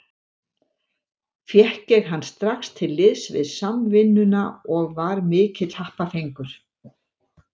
Fékk ég hann strax til liðs við Samvinnuna og var mikill happafengur.